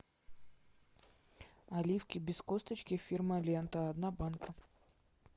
оливки без косточки фирма лента одна банка